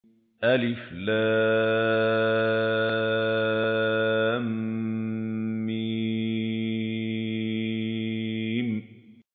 الم